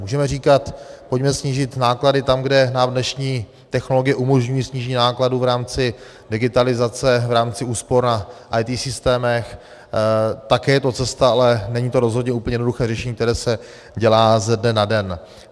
Můžeme říkat: pojďme snížit náklady tam, kde nám dnešní technologie umožňují snížení nákladů v rámci digitalizace, v rámci úspor na IT systémech - také je to cesta, ale není to rozhodně úplně jednoduché řešení, které se dělá ze dne na den.